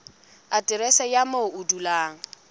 aterese ya moo o dulang